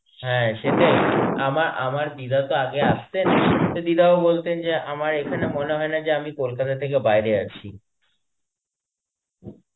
হ্যাঁ, সেটাই. আমা~ আমার দিদা তো আগে আসতেন. সেই দিদাও বলতেন আমার এখানে মনে হয়না যে আমি কলকাতা থেকে বাইরে আছি.